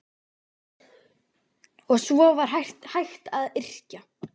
Og svo var hægt að yrkja.